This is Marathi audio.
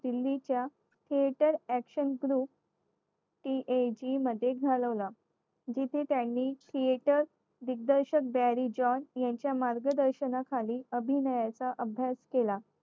दिल्लीच्या theater action through CAJ मध्ये घालवला जिथे त्यांनी creator दिग्दर्शक berry john यांच्या मार्गदर्शनाखाली अभिनयाचा अभ्यास केला